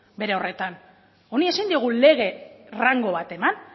bere horretan honi ezin diogu lege rango bat eman